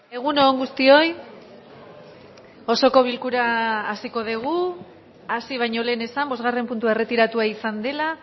egun on guztioi osoko bilkura hasiko dugu hasi baino lehen esan bosgarren puntua erretiratua izan dela